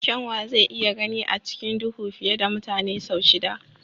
Kyanwa zai iya gani a cikin duhu fiye da mutane sau shida.